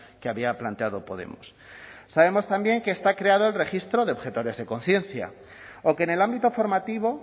que había planteado podemos sabemos también que está creado el registro de objetores de conciencia o que en el ámbito formativo